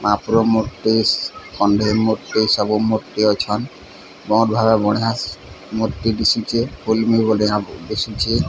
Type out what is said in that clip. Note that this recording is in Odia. ମହପୁର ମୂର୍ତ୍ତି କଣ୍ଢେଇ ମୂର୍ତ୍ତି ସବୁ ମୂର୍ତ୍ତି ଅଛନ ବହୁତ୍ ବଢ଼ିଆ ମୂର୍ତ୍ତି ଦିଶୁଛି ଦିଶୁଛି।